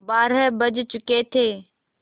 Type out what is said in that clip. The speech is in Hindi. बारह बज चुके थे